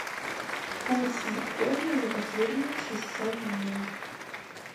курс биткоина за последние шестьсот дней